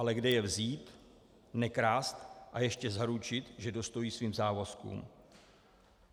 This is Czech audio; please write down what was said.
Ale kde je vzít, nekrást a ještě zaručit, že dostojí svým závazkům?